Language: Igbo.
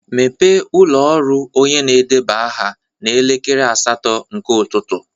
Mepee ụlọ ọrụ onye na-edeba aha n'elekere asatọ nke ụtụtụ.